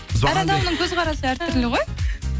әр адамның көзқарасы әртүрлі ғой